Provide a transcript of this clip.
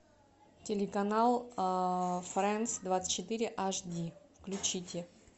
телеканал френдс двадцать четыре аш ди включите